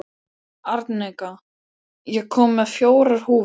Arnika, ég kom með fjórar húfur!